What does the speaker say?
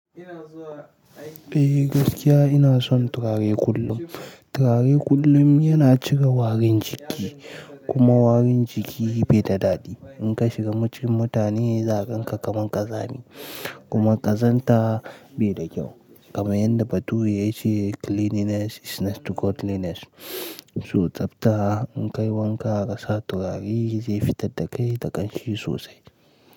Eh gaskiya ina son turare kullum. Turare kullum yana cire warin jiki kuma warin jiki bai da daɗi. In ka shiga cikin mutane za a ganka kamar ƙazami kuma ƙazanta bai da kyau. Kamar yadda bature ya ce "cleanliness is next to godliness" su tsabta in ka yi wanka kasa turare zai fitar da kai da ƙanshi sosai.